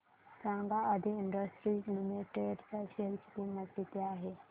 सांगा Aadi industries limited च्या share ची किंमत किती आहे